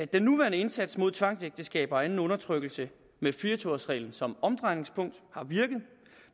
den nuværende indsats mod tvangsægteskaber og anden undertrykkelse med fire og tyve års reglen som omdrejningspunkt har virket